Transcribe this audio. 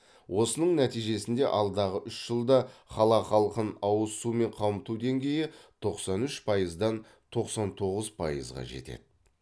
осының нәтижесінде алдағы үш жылда қала халқын ауыз сумен қамту деңгейі тоқсан үш пайыздан тоқсан тоғыз пайызға жетеді